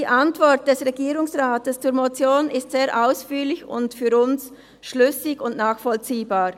Die Antwort des Regierungsrates zur Motion ist sehr ausführlich und für uns schlüssig und nachvollziehbar.